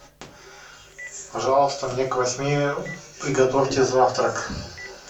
пожалуйста мне к восьми приготовьте завтрак